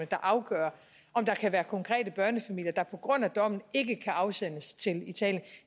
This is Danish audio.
der afgør om der kan være konkrete børnefamilier der på grund af dommen ikke kan afsendes til italien